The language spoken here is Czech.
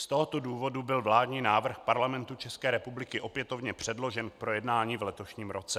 Z tohoto důvodu byl vládní návrh Parlamentu České republiky opětovně předložen k projednání v letošním roce.